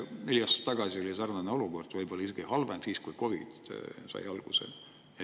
Neli aastat tagasi oli sarnane olukord, võib-olla isegi halvem, siis, kui COVID sai alguse.